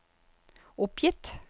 oppgitt